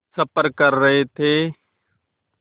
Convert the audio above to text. सफ़र कर रहे थे